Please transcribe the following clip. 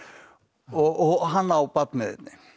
og hann á barn með einni